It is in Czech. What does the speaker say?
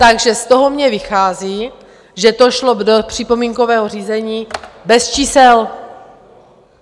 Takže z toho mně vychází, že to šlo do připomínkového řízení bez čísel!